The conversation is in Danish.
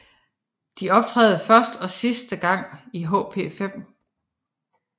De optræder første og sidste gang i HP5